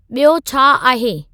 ॿियो छा आहे